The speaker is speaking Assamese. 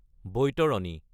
বাইতাৰাণী